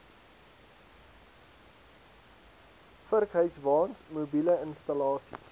vurkhyswaens mobiele installasies